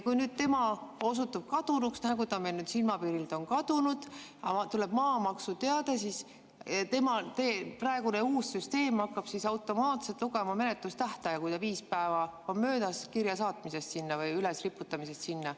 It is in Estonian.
Kui nüüd tema osutub kadunuks, nagu ta meil nüüd silmapiirilt on kadunud, aga tuleb maamaksuteade, siis praegune uus süsteem hakkab automaatselt lugema menetlustähtaega, kui viis päeva on möödas kirja saatmisest sinna või ülesriputamisest sinna.